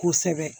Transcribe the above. Kosɛbɛ